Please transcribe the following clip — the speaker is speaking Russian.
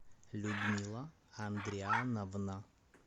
людмила андриановна